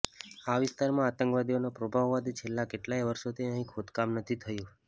આ વિસ્તારમાં આતંકવાદીઓનો પ્રભાવ હોવાથી છેલ્લા કેટલાંય વર્ષોથી અહીં ખોદકામ નથી થયુ